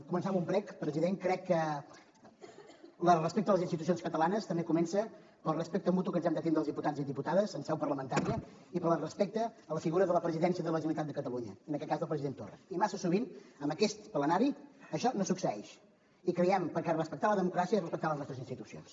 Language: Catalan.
començar amb un prec president crec que el respecte a les institucions catalanes també comença pel respecte mutu que ens hem de tindre els diputats i diputades en seu parlamentària i pel respecte a la figura de la presidència de la generalitat de catalunya en aquest cas del president torra i massa sovint en aquest plenari això no succeeix perquè respectar la democràcia és respectar les nostres institucions